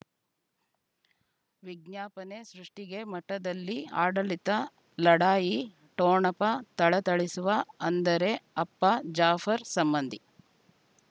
ವಿಜ್ಞಾಪನೆ ಸೃಷ್ಟಿಗೆ ಮಠದಲ್ಲಿ ಆಡಳಿತ ಲಢಾಯಿ ಠೊಣಪ ಥಳಥಳಿಸುವ ಅಂದರೆ ಅಪ್ಪ ಜಾಫರ್ ಸಂಬಂಧಿ